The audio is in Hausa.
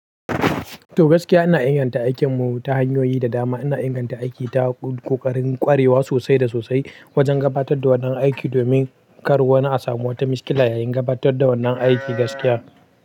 To gaskiya ina inganta aikinmu ta hanyoyi da dama. Ina inganta aiki ta ƙoƙarin ƙwarewa sosai da sosai wajen gabatar da wannan aiki domin kar wani a samu wata mashkila yayin gabatar da wannan aiki gaskiya.